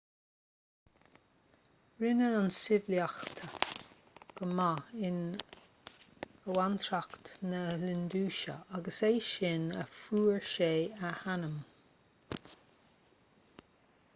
rinne an tsibhialtacht go maith in abhantrach na hiondúise agus is as sin a fuair sé a ainm